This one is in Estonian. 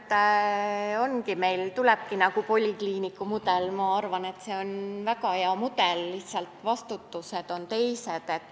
Ma usun, et meil tulebki nagu polikliiniku mudel – arvan, et see on väga hea –, lihtsalt vastutusalad on teistsugused.